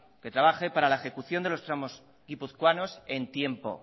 que trabaje para la ejecución de los tramos guipuzcoanos en tiempo